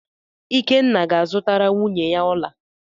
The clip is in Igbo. Ikenna ga-azụtara nwunye ya ọla.